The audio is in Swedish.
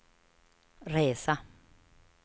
resa